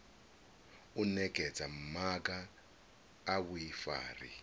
u nekedza maga a vhuifari